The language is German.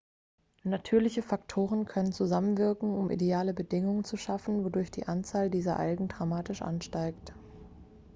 natürliche faktoren können zusammenwirken um ideale bedingungen zu schaffen wodurch die anzahl dieser algen dramatisch ansteigt